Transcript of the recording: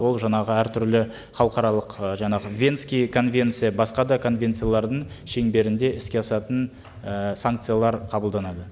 ол жаңағы әртүрлі халықаралық ы жаңағы венская конвенция басқа да конвенциялардың шеңберінде іске асатын і санкциялар қабылданады